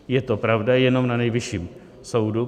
Je to pravda jenom na Nejvyšším soudu.